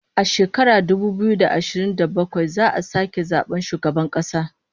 A shekarar dubu biyu da ashirin da bakwai za'a sake zaban shugaban kasa